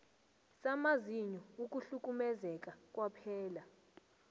samazinyo ukuhlukumezeka kwaphela